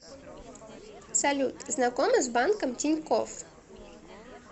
салют знакома с банком тинькофф